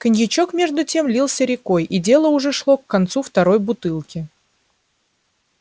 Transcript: коньячок между тем лился рекой и дело уже шло к концу второй бутылки